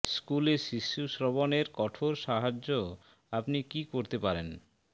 স্কুলে শিশু শ্রবণের কঠোর সাহায্য আপনি কি করতে পারেন